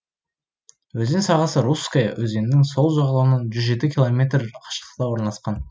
өзен сағасы русская өзенінің сол жағалауынан жүз жеті километр қашықтықта орналасқан